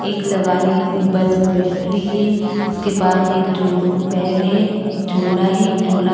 एक सवारी बस में बैठ रही है इसके पास एक झो बैग है एक झोला है झोला --